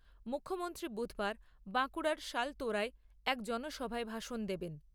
মুখ্যমন্ত্রী বুধবার বাঁকুড়ার শালতোরায় এক জনসভায় ভাষণ দেবেন।